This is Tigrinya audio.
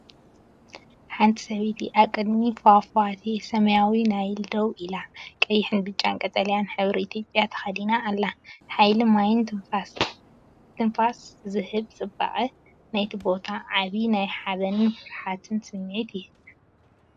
ሓንቲ ሰበይቲ ኣብ ቅድሚ ፏፏቴ ሰማያዊ ናይል ደው ኢላ፡ ቀይሕን ብጫን ቀጠልያን ሕብሪ ኢትዮጵያ ተኸዲና ኣላ። ሓይሊ ማይን ትንፋስ ዝህብ ጽባቐ ናይቲ ቦታን ዓቢ ናይ ሓበንን ፍርሃትን ስምዒት ይህብ!